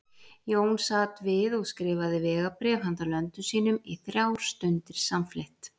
Jón sat við og skrifaði vegabréf handa löndum sínum í þrjár stundir samfleytt.